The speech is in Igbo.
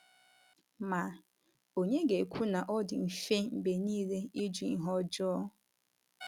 Ma, ònye ga - ekwu na ọ dị mfe mgbe nile ịjụ ihe ọjọọ?